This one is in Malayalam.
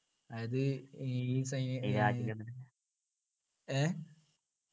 അതായത് ഈ സൈനികരെ ഏർ